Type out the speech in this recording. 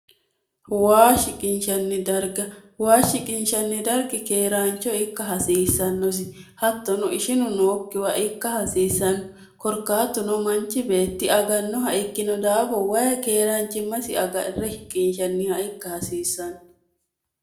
waa shiqinshanni darga waa shiqinshanni dargi keeraancho ikka hasiissannosi hattono ishinu nookkiwa ikka hasiissanno korkaattuno manchi beetti agannoha ikkino daafo wayi keeraanchimmasi agarre hiqinshanniha ikka hasiissanno